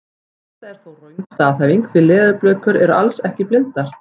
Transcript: Þetta er þó röng staðhæfing því leðurblökur eru alls ekki blindar!